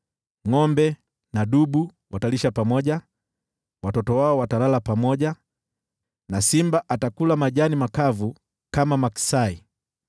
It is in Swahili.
Ngʼombe na dubu watalisha pamoja, watoto wao watalala pamoja, na simba atakula majani makavu kama maksai.